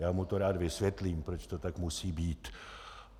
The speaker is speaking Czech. Já mu to rád vysvětlím, proč to tak musí být.